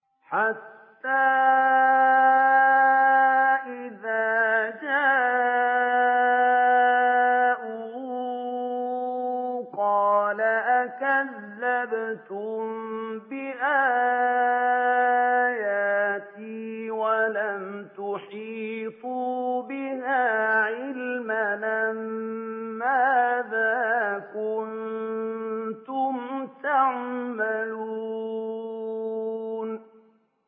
حَتَّىٰ إِذَا جَاءُوا قَالَ أَكَذَّبْتُم بِآيَاتِي وَلَمْ تُحِيطُوا بِهَا عِلْمًا أَمَّاذَا كُنتُمْ تَعْمَلُونَ